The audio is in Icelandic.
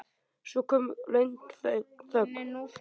Svo kom löng þögn.